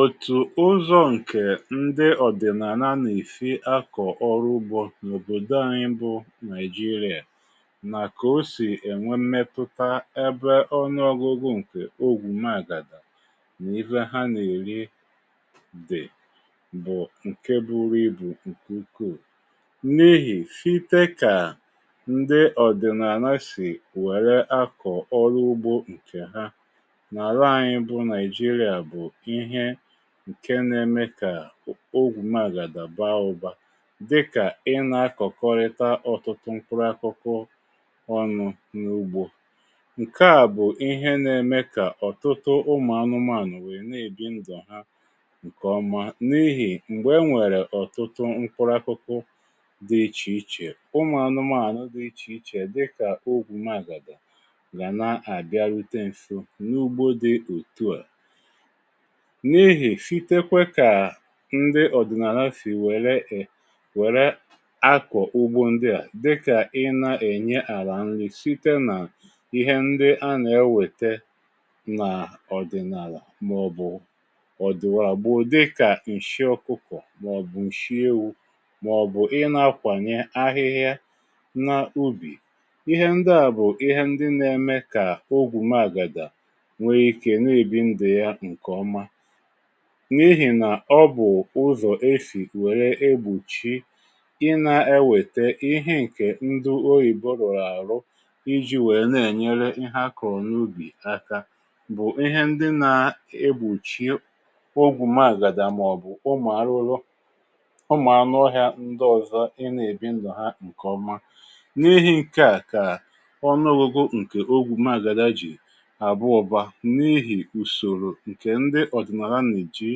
Òtù ụzọ ǹkè ndị ọ̀dị̀nànà na esi akọ̀ ọrụ ugbȯ nọ òbòdo anyị bụ Nàijiria nà ko sì ènwe mmetụta ebe ọnụọ̀gụ̀gụ̀ ǹkè ogwù màgàda n’ihe ha na-èri dị bụ̀ ǹke buru ibù ǹkè ukuù n'ihi site kà ndị ọ̀dị̀nànà sì wère akọ̀ ọrụ ugbȯ ǹkè há nà àlà anyi bụ nàijiria bụ ihé nkè nà-ème kà ogwù magàdà ba ụbȧ dị kà ị na-akọ̀kọrịta ọ̀tụtụ mkpụrụ akụkụ ọnụ̇ n’ugbȯ. Nke à, bụ̀ ihé na-eme kà ọ̀tụtụ ụmụ̀ anụmȧnụ̀ wéé na-èbi ndụ há ǹkè ọma n’ihì m̀gbè e nwèrè ọ̀tụtụ mkpụrụ akụkụ dị̇ ichè ichè, ụmụ̀ anụmȧnụ̀ dị ichè ichè dị kà ogwù magàdà ga nà à bịa rute nso nà ugbo dị otú a. N'ihi, site kwe kà ndị ọ̀dị̀nàlà si wère um wère akọ̀ ugbȯ ndị à dị kà ị na-ènye àlà nri site nà ihé ndị a nà-ewète n’ọ̀dị̀nàlà màọ̀bụ̀ ọ̀dị̀ wa gboo dịkà ǹshị ọkụkọ̀ màọ̀bụ̀ ǹshị ewụ màọ̀bụ̀ ị na-akwànye ahịhịa n’ubì ihé ndị à bụ̀ ihé ndị n’ème kà ogwù mààgàdà nwé ike nà ebi ndụ yá nkè ọma n’ihì nà ọ bụ̀ ụzọ̀ esi wèrè egbochi ị na-ewète ihé ǹkè ndụ oyìbo rùrù àrụ iji̇ wèe na-ènyere ihé a kùrù n’ubì aka bụ̀ ihé ndị na-egbochi ogwù maàgàdà màọ̀bụ̀ ụmụ̀ arụrụ, ụmụ̀ anụ̇ọ̇hị̀a ndị ọ̀zọ ị na-èbi ndụ̀ há ǹkè ọma. N'ihi ǹkè á kà ọnụọgụgụ ǹkè ogwù magàdà jì àbụ ụba n'ihi usoro nkè ndị odinala nà ejì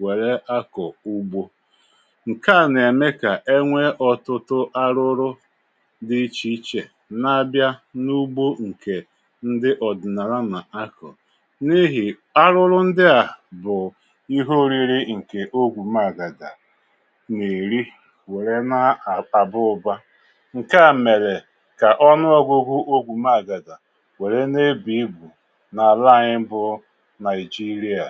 wère akọ̀ ugbȯ ǹke à nà-ème kà enwee ọtụtụ arụrụ dị̇ ichè ichè n’abịa n’ugbȯ ǹkè ndị ọ̀dị̀nàlà nà-akọ̀ n’ihì arụrụ ndị à bụ̀ ihe oriri ǹkè ogwù meàgàdà nà èri wère nà àba ụ̀ba. Nkè à mèrè kà ọnụọgụgụ ogwù maàgàdà wère nà ebu ibu ala anyị bụ nàijiria.